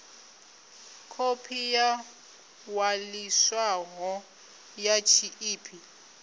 khophi yo ṅwaliswaho ya tshiḽipi